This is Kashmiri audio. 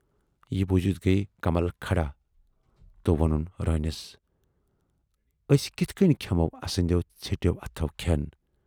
یہِ بوٗزِتھ گٔیہِ کمل کھڑا تہٕ وونُن روٗنِس"ٲسۍ کِتھٕ کٔنۍ کھٮ۪مو اَسٕندٮ۪و ژھیٹٮ۪و اَتھو کھٮ۪ن